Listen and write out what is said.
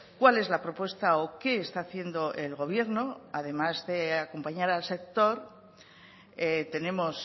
cuál es la propuesta o qué está haciendo el gobierno además de acompañar al sector tenemos